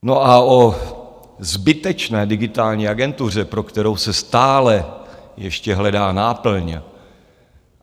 No a o zbytečné Digitální agentuře, pro kterou se stále ještě hledá náplň...